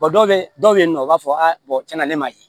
dɔw bɛ dɔw bɛ yen nɔ u b'a fɔ a tiɲɛna ne m'a ye